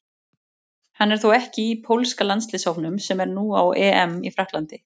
Hann er þó ekki í pólska landsliðshópnum sem er nú á EM í Frakklandi.